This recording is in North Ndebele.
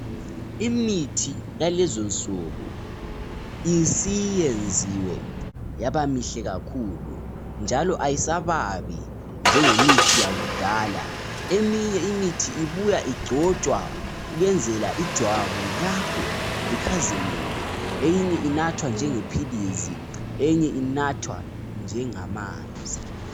Imithi yalezonsuku isiyenziwe yaba mihle kakhulu njalo ayisababi njengemithi yakudala . Eminye imithi ibuya igcotshwa ukwenzela ijwabu lakho likhazimule ,eyinye inathwa njengephilisi, eyinye inathwa njengamanzi